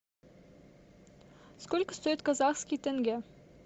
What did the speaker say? сколько стоит казахский тенге